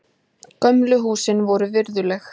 Gömlu húsin voru virðuleg.